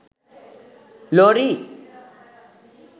lorry